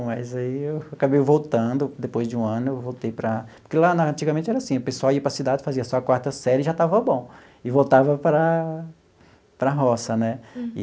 Mas aí eu acabei voltando, depois de um ano eu voltei para... Porque lá na antigamente era assim, o pessoal ia para a cidade, fazia só a quarta série e já estava bom, e voltava para a para a roça, né?